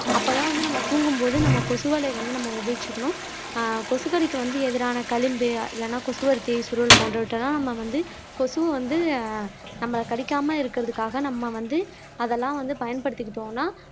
அப்போதான் வந்து நம்ம தூங்கும் போது நம்ம கொசுவலை வந்து நம்ம உபயோகிச்சுக்கணும் ஆஹ் கொசுக்கடிக்கு வந்து எதிரான களிம்பு இல்லைன்னா கொசுவர்த்தி சுருள் போன்றவற்றை எல்லாம் நம்ம வந்து கொசுவை வந்து நம்ம கடிக்காம இருக்கறதுக்காக நம்ம வந்து அதெல்லாம் வந்து பயன்படுத்திக்கிட்டோம்ன்னா